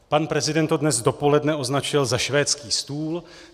Pan prezident to dnes dopoledne označil za švédský stůl.